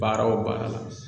Baara o baara la